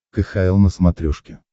кхл на смотрешке